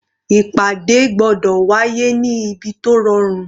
Ìpàdé gbọ́dọ̀ wá yé ní ibi tó rọrùn.